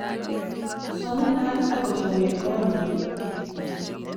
Somanat ako chame konyin.